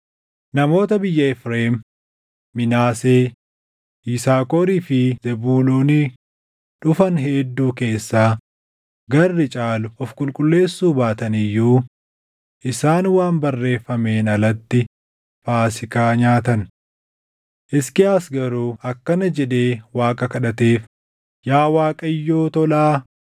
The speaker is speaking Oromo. Namoota biyya Efreem, Minaasee, Yisaakorii fi Zebuuloonii dhufan hedduu keessaa garri caalu of qulqulleessuu baatan iyyuu isaan waan barreeffameen alatti Faasiikaa nyaatan; Hisqiyaas garuu akkana jedhee Waaqa kadhateef; “Yaa Waaqayyoo tolaa,